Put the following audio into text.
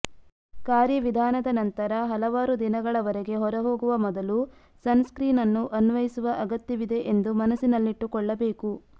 ಕಾರ್ಯವಿಧಾನದ ನಂತರ ಹಲವಾರು ದಿನಗಳವರೆಗೆ ಹೊರ ಹೋಗುವ ಮೊದಲು ಸನ್ಸ್ಕ್ರೀನ್ ಅನ್ನು ಅನ್ವಯಿಸುವ ಅಗತ್ಯವಿದೆ ಎಂದು ಮನಸ್ಸಿನಲ್ಲಿಟ್ಟುಕೊಳ್ಳಬೇಕು